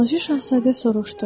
Balaca Şahzadə soruşdu: